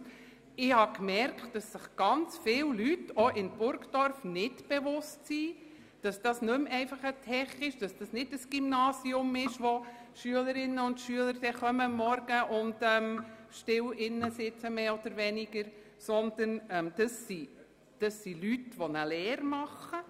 Ich habe bemerkt, dass sich viele Leute – auch in Burgdorf – nicht bewusst sind, dass es künftig nicht mehr ein «Tech» und ein Gymnasium sein wird, welches am Morgen von Schülerinnen und Schülern betreten wird, die mehr oder weniger still sitzen, sondern dass es Leute sein werden, die eine Lehre absolvieren.